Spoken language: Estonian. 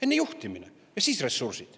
Enne juhtimine ja siis ressursid.